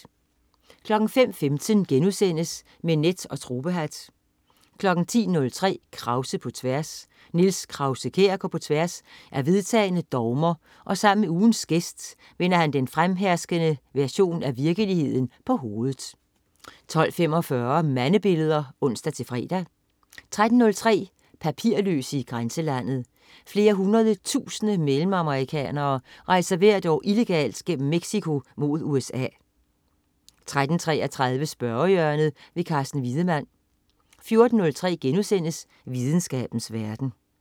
05.15 Med net og tropehat* 10.03 Krause på tværs. Niels Krause-Kjær går på tværs af vedtagne dogmer og sammen med ugens gæst vender han den fremherskende version af virkeligheden på hovedet 12.45 Mandebilleder (ons-fre) 13.03 Papirløse i grænselandet. Flere hundrede tusinde mellemamerikanere rejser hvert år illegalt gennem Mexico mod USA 13.33 Spørgehjørnet. Carsten Wiedemann 14.03 Videnskabens verden*